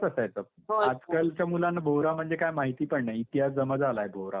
आजकालच्या मुलांना भोवरा म्हणजे काय माहिती पण नाही. इतिहास जमा झालाय. भोवरा म्हणजे.